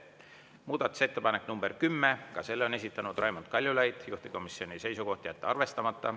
Muudatusettepanek nr 10, ka selle on esitanud Raimond Kaljulaid, juhtivkomisjoni seisukoht: jätta arvestamata.